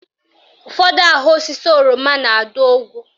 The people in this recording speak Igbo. Ụfọdụ ahụ osisi oroma na-adụ ogwu